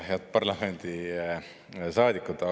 Head parlamendisaadikud!